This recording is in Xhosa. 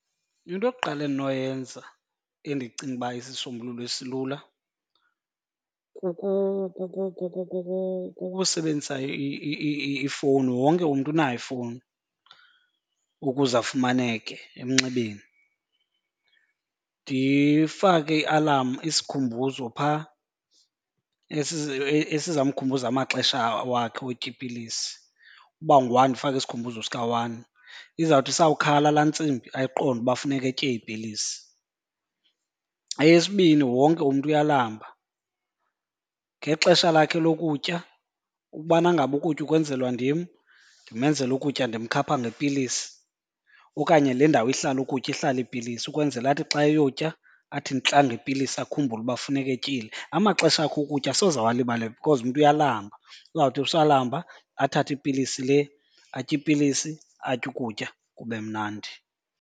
Into yokuqala endinoyenza endicinga uba isisisombululo esilula kukusebenzisa ifowuni, wonke umntu unayo ifowuni ukuze afumaneke emnxebeni. Ndifake ialamu, isikhumbuzo, phaa esizamkhumbuza amaxesha wakhe wotya iipilisi. Uba ungu-one, ndifake isikhumbuzo sika-one. Izawuthi isawukhala laa ntsimbi ayiqonde uba funeke etye iipilisi. Eyesibini wonke umntu uyalamba. Ngexesha lakhe lokutya, ukubana ngaba ukutya ukwenzelwa ndim, ndimenzela ukutya ndimkhapha ngepilisi okanye le ndawo ihlala ukutya ihlala iipilisi ukwenzela athi xa eyotya athi ntla ngepilisi akhumbule uba funeka etyile. Amaxesha akhe okutya asoze awalibale because umntu uyalamba, uzawuthi usalamba athathe ipilisi le atye ipilisi, atye ukutya kube mnandi.